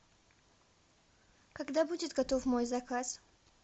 когда будет готов мой заказ